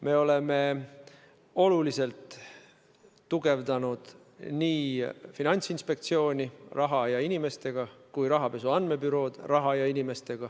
Me oleme oluliselt tugevdanud raha ja inimestega nii Finantsinspektsiooni kui ka rahapesu andmebürood.